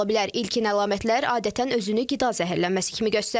İlkin əlamətlər adətən özünü qida zəhərlənməsi kimi göstərir.